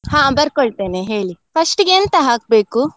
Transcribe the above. ಹಾ ಬರ್ಕೊಳ್ತೇನೆ ಹೇಳಿ. First ಇಗೆ ಎಂತ ಹಾಕ್ಬೇಕು?